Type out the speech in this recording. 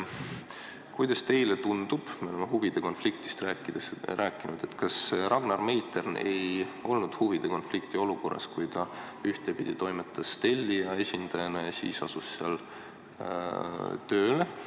Kuidas teile tundub – me oleme siin huvide konfliktist rääkinud –, kas Ragnar Meitern ei olnud huvide konflikti olukorras, kui ta ühtepidi toimetas tellija esindajana ja seejärel asus seal tööle?